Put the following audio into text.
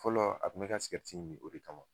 Fɔlɔ a kun bi ka min o de kama.